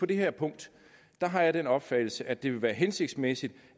det her punkt har jeg den opfattelse at det ville være hensigtsmæssigt